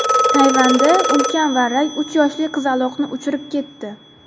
Tayvanda ulkan varrak uch yoshli qizaloqni uchirib ketdi .